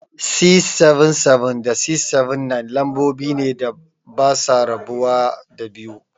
677 da 679, lambobi ne da basa rabuwa da 2.